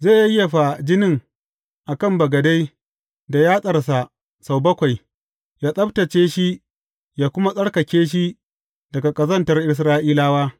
Zai yayyafa jinin a kan bagade da yatsarsa sau bakwai, yă tsabtacce shi yă kuma tsarkake shi daga ƙazantar Isra’ilawa.